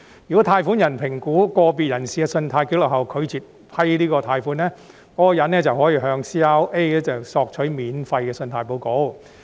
如果貸款人在評估個別人士的信貸紀錄後拒絕批出貸款，則該名人士可向 CRA 免費索取信貸報告。